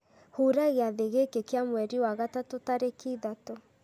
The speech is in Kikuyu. hura gĩathĩ gĩkĩ kĩa mweri wa gatatũ tarĩki ithatũ